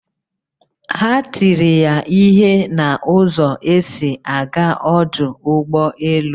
Ha tiri ya ihe na ụzọ esi aga ọdụ ụgbọ elu